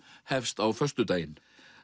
hefst á föstudaginn